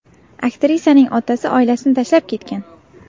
Aktrisaning otasi oilasini tashlab ketgan.